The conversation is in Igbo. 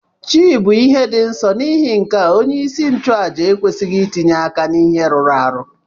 Chi bu ihe di nsọ nighi nkea onye isi nchu aja ekwesighi itinye aka na ihe rụrụ arụ.